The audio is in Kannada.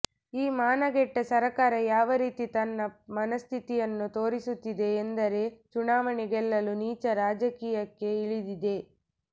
ಈ ಮಾನಗೆಟ್ಟ ಸರ್ಕಾರ ಯಾವ ರೀತಿ ತನ್ನ ಮನಸ್ಥಿತಿಯನ್ನು ತೋರಿಸುತ್ತಿದೆ ಎಂದರೆ ಚುನಾವಣೆ ಗೆಲ್ಲಲು ನೀಚ ರಾಜಕೀಯಕ್ಕೆ ಇಳಿದಿದೆ